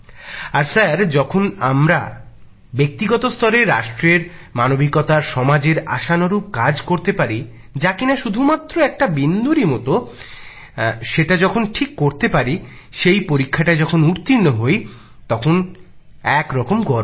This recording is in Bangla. আর স্যার যখন আমরা ব্যক্তিগত স্তরে রাষ্ট্রের মানবিকতার সমাজের আশানুরূপ কাজ করতে পারি যা কিনা শুধু মাত্র একটা বিন্দুরই মতো সেটা যখন ঠিক করে করতে পারি সেই পরীক্ষাটায় যখন উত্তীর্ণ হই তখন একরকম গর্ব হয়